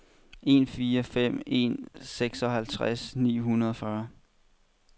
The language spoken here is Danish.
en fire fem en seksoghalvtreds ni hundrede og fyrre